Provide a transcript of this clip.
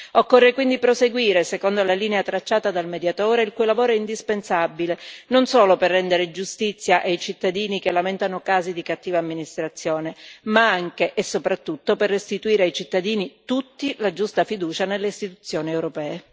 Occorre quindi proseguire secondo la linea tracciata dal Mediatore, il cui lavoro è indispensabile non solo per rendere giustizia ai cittadini che lamentano casi di cattiva amministrazione, ma anche e soprattutto per restituire a tutti i cittadini la giusta fiducia nelle istituzioni europee.